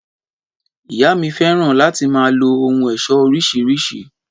Ìyá mi fẹ́ràn láti máa lo ohun éṣọ́ oríṣiríṣi